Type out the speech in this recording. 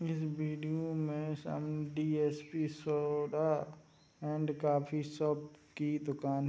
इस वीडिओ में सामने DSP. Soda and coffee shop की दुकान --